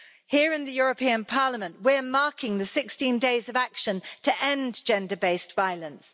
Here in the European Parliament we're marking the 16 Days of Action to end gender based violence.